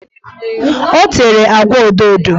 O tere agwa odoodo